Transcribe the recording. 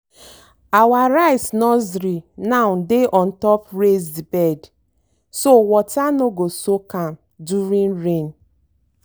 our rice nursery now dey on top raised bed so water no go soak am during rain.